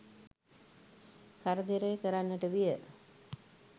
කරදර කරන්නට විය